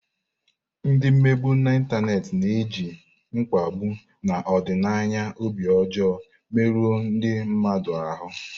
Ndị mmegbu n'Ịntanet na-eji mkpagbu na ọdịnaya obi ọjọọ merụọ ndị mmadụ ahụ.